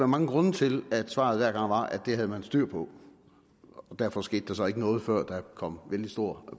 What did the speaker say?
mange grunde til at svaret hver gang var at det havde man styr på og derfor skete der så ikke noget før der kom vældig stor